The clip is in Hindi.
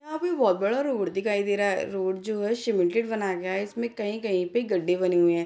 यहाँ पे बहुत बड़ा रोड दिखाई दे रहा हैरोड जो है सीमेंटेड बनाया गया है इसमें कहीं-कहीं पे गड्ढे बने हुए हैं।